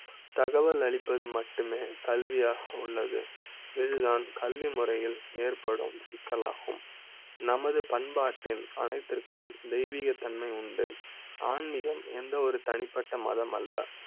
நல்ல தகவல் அளிப்பது மட்டுமே கல்வி யாக உள்ளது. வில்தான் கல்விமுறை யில் ஏற்படும் சிக்கலாகும். நம து பண்பாட்டின் அனைத்திற்கு தெய்வீக தன்மை உண்டு. ஆன்மிகம் எந்த ஒரு தனிப்பட்ட மதம் அல்ல,